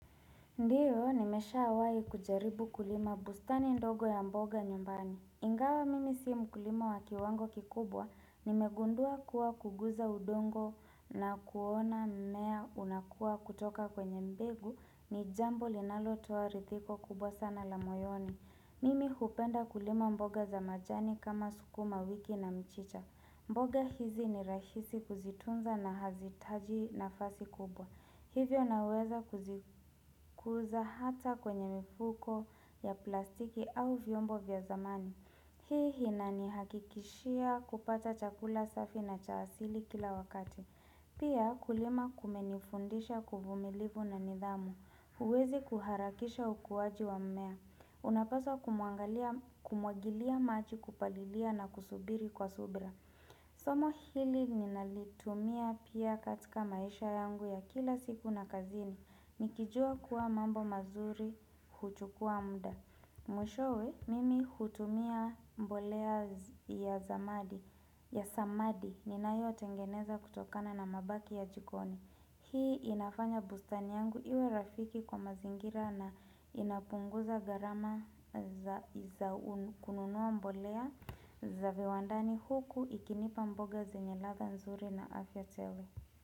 Ndiyo, nimesha awai kujaribu kulima bustani ndogo ya mboga nyumbani. Ingawa mimi si mkulima wakiwango kikubwa. Nimegundua kuwa kuguza udongo na kuona mnea unakua kutoka kwenye mbegu ni jambo linalo tuwa ridhiko kubwa sana la moyoni. Mimi hupenda kulima mboga za majani kama sukuma wiki na mchicha. Mboga hizi ni rahisi kuzitunza na hazitaji na fasi kubwa. Hivyo naweza kuzikuza hata kwenye mifuko ya plastiki au vyombo vya zamani. Hii hina ni hakikishia kupata chakula safi na chaasili kila wakati. Pia kulima kumenifundisha kuvumilivu na nidhamu. Uwezi kuharakisha ukuwaji wa mmea. Unapaswa kumwagilia maji kupalilia na kusubiri kwa subra. Somo hili ninalitumia pia katika maisha yangu ya kila siku na kazini Nikijua kuwa mambo mazuri kuchukua mda Mwishowe, mimi hutumia mbolea ya samadi ya samadi ninayo tengeneza kutokana na mabaki ya jikoni Hii inafanya bustani yangu iwe rafiki kwa mazingira na inapunguza garama za kununuwa mbolea za viwandani huku ikinipa mboga zenye ladha nzuri na afya tele.